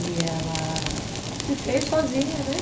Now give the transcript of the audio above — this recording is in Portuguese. E ela... se fez sozinha, né?